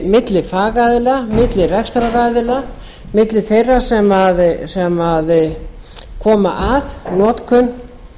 milli fagaðila milli rekstraraðila milli þeirra sem koma að notkun